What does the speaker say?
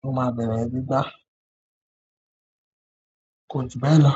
ló máa bẹ̀rẹ̀ gbígbà. Kò jubẹ̀ lọ̀.